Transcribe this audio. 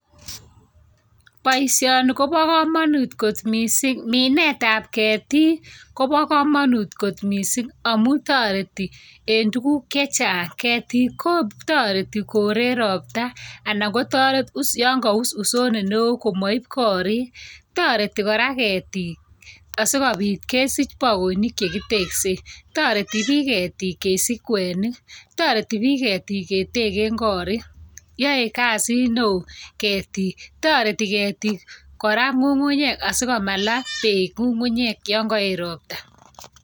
Boisioni kobo komonut kot miising'. minet ap ketik kobo komonut kot miising' amu toreti en tuguk chechang'. Ketik kotoreti kore ropta anan kotoret us ya ngaus usondet neo komait korik, toreti kora ketik asikobit kesich baoinik chekitekse, toreti bik ketik kesich kwenik, toreti bik ketik keteke korik. yae kasiit neo ketik. toreti ketik kora ng'ung'unyek asikomalaa peek ng'ung'unyek ya ngaet ropta